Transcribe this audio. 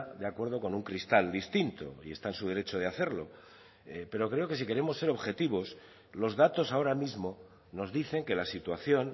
de acuerdo con un cristal distinto y está en su derecho de hacerlo pero creo que si queremos ser objetivos los datos ahora mismo nos dicen que la situación